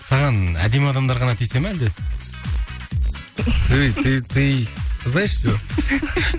саған әдемі адамдар ғана тиісе ме әлде